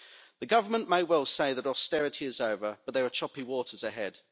The government may well say that austerity is over, but there are choppy waters ahead.